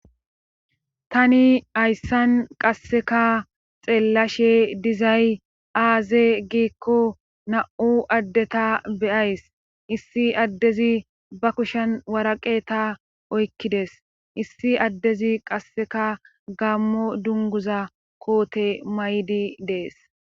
tani hayssan qasseka xeellashe dizay aaze giikko na7u addeta beyays issi addezi ba kushen waraqe ta oykkides issi addezi qasseka gammo dunguza koote may7di dees